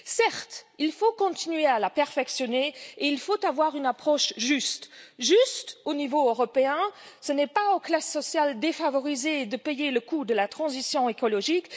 Certes, il faut continuer à la perfectionner, il faut avoir une approche juste juste au niveau européen ce n'est pas aux classes sociales défavorisées qu'il revient de payer le coût de la transition écologique